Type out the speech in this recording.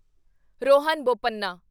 Rohan Bopanna